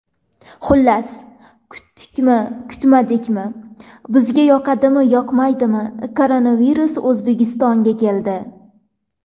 Xullas, kutdikmi, kutmadikmi, bizga yoqadimi, yoqmaydimi, koronavirus O‘zbekistonga keldi!